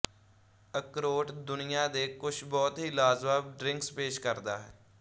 ਅਕ੍ਰੋਟ ਦੁਨਿਆ ਦੇ ਕੁਛ ਬਹੁਤ ਹੀ ਲਾਜਵਾਬ ਡ੍ਰਿੰਕ੍ਸ ਪੇਸ਼ ਕਰਦਾ ਹੈ